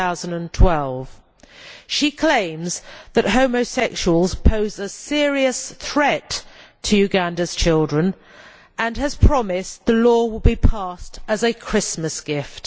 2012. She claims that homosexuals pose a serious threat to Uganda's children and has promised that the law will be passed as a Christmas gift.